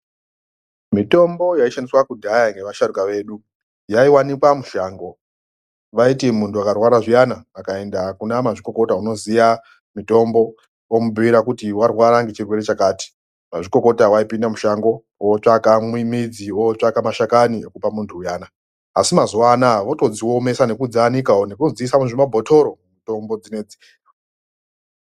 Mitombo yaishandiswa kudhaya ngeasharuka edu yaiwanikwa mushango vaiti muntu akarwara zviyani akaenda kunamazvikokota unoziya mutombo omubhuyira kuti warwara ngechirwere chakati mazvikokota waipinde mushango ootsvaka midzi ootsvaka mashakani ekupa munhu uya asi mazuwa anaya votodziomesa nekudzianikawo nekudzisa mumabhotoro mitombo dzinoidzi.